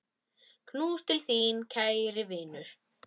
Knús til þín, kæri vinur.